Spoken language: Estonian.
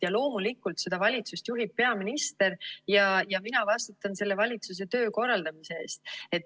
Ja loomulikult, seda valitsust juhib peaminister ja mina vastutan selle valitsuse töö korraldamise eest.